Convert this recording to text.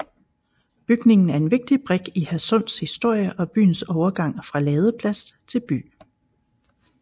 Bygningen er en vigtig brik i Hadsunds historie og byens overgang fra ladeplads til by